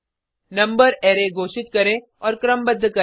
number array घोषित करें और क्रमबद्ध करें